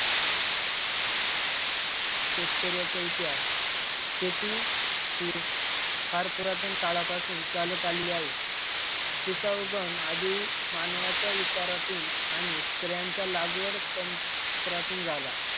शेतकऱ्याचा इतिहास शेती ही फार पुरातन काळापासून चालत आलेली आहे. तिचा उगम आधी मानवाच्या विचारातून आणि स्त्रियांच्या लागवड तंत्रातून झाला.